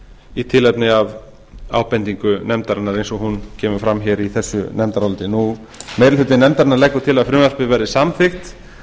í tilefni af ábendingu nefndarinnar eins og hún kemur fram í þessu nefndaráliti meiri hluti nefndarinnar leggur til að frumvarpið verði samþykkt